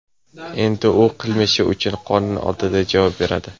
Endi u qilmishi uchun qonun oldida javob beradi.